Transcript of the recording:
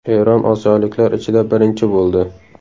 Eron osiyoliklar ichida birinchi bo‘ldi.